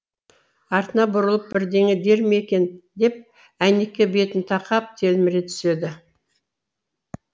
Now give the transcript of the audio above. артына бұрылып бірдеңе дер ме екен деп әйнекке бетін тақап телміре түседі